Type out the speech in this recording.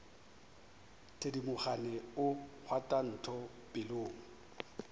thedimogane o kgwatha ntho pelong